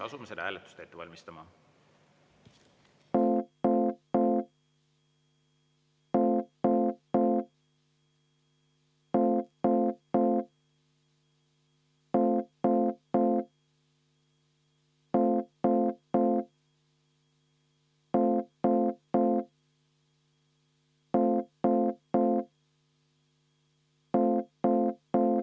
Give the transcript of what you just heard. Asume seda hääletust ette valmistama.